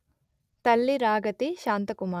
తల్లి రాగతి శాంతకుమారి